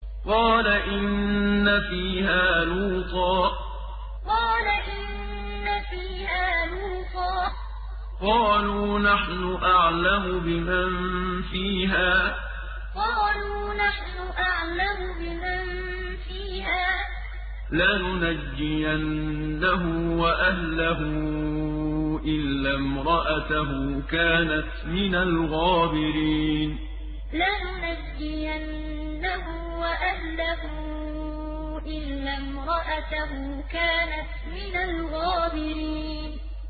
قَالَ إِنَّ فِيهَا لُوطًا ۚ قَالُوا نَحْنُ أَعْلَمُ بِمَن فِيهَا ۖ لَنُنَجِّيَنَّهُ وَأَهْلَهُ إِلَّا امْرَأَتَهُ كَانَتْ مِنَ الْغَابِرِينَ قَالَ إِنَّ فِيهَا لُوطًا ۚ قَالُوا نَحْنُ أَعْلَمُ بِمَن فِيهَا ۖ لَنُنَجِّيَنَّهُ وَأَهْلَهُ إِلَّا امْرَأَتَهُ كَانَتْ مِنَ الْغَابِرِينَ